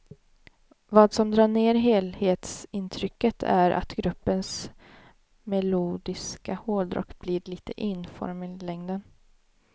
Vad som drar ner helhetsintrycket är att gruppens melodiska hårdrock blir lite enformig i längden.